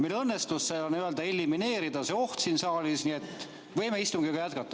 Meil õnnestus elimineerida see oht siin saalis, nii et võime istungit jätkata.